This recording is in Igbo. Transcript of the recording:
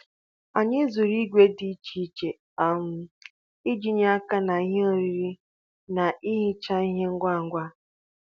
Anyị zụrụ ìgwè dị iche iche um iji nye aka ná ihe oriri na ị hichaa ihe ngwa ngwa.